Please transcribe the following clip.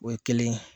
O ye kelen ye